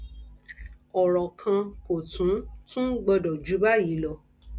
ọrọ kan kò tún tún gbọdọ jù báyì lọ